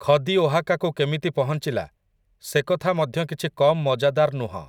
ଖଦି ଓହାକାକୁ କେମିତି ପହଂଚିଲା, ସେ କଥା ମଧ୍ୟ କିଛି କମ ମଜାଦାର ନୁହଁ ।